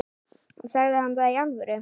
Sagði hann það í alvöru?